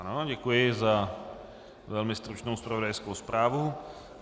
Ano, děkuji za velmi stručnou zpravodajskou zprávu.